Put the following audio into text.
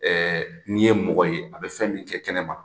Ɛɛ n'i ye mɔgɔ ye a bɛ fɛn min kɛ kɛnɛma